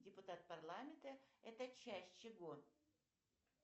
депутат парламента это часть чего